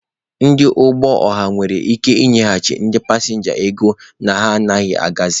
Ndị ụgbọ ọha nwere ike nyeghachi ndị pasịnja ego na ha anaghị agazị.